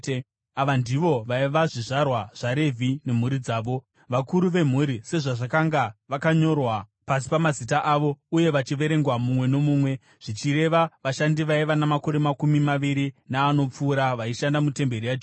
Ava ndivo vaiva zvizvarwa zvaRevhi nemhuri dzavo, vakuru vemhuri sezvazvakanga vakanyorwa pasi pamazita avo uye vachiverengwa mumwe nomumwe, zvichireva vashandi vaiva namakore makumi maviri naanopfuura vaishanda mutemberi yaJehovha.